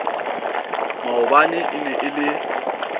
maobane e ne e le